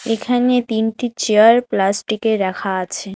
এখানে তিনটি চেয়ার প্লাস্টিকের রাখা আছে।